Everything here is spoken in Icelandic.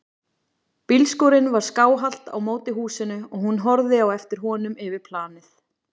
Bílskúrinn var skáhallt á móti húsinu og hún horfði á eftir honum yfir planið.